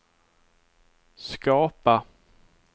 skapa